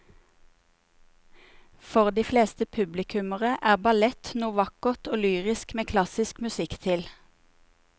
For de fleste publikummere er ballett noe vakkert og lyrisk med klassisk musikk til.